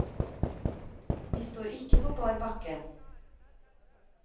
Vi står ikke på bar bakke.